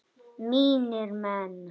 Mínir menn!